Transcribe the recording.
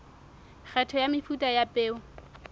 kgetho ya mefuta ya peo